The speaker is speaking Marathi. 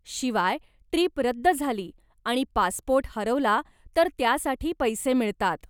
शिवाय, ट्रीप रद्द झाली आणि पासपोर्ट हरवला तर त्यासाठी पैसे मिळतात.